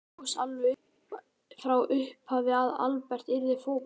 Var það ljóst alveg frá upphafi að Albert yrði fótboltamaður?